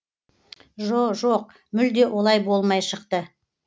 жо жоқ мүлде олай болмай шықты